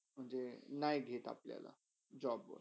म्हणजे नय घेत ते अपल्याला job वर.